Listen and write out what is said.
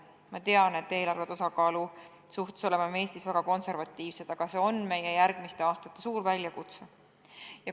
Ma tean, et me oleme Eestis eelarve tasakaalu osas väga konservatiivsed, aga see on meie järgmiste aastate suur väljakutse.